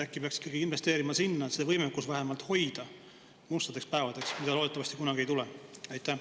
Äkki peaks ikkagi investeerima sinna, et seda võimekust hoida mustadeks päevadeks, mida loodetavasti kunagi ei tule?